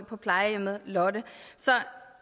på plejehjemmet lotte så